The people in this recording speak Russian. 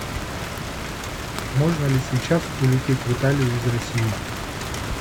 можно ли сейчас улететь в италию из россии